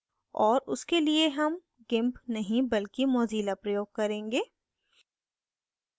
और उसके लिए हम gimp नहीं बल्कि mozilla प्रयोग करेंगे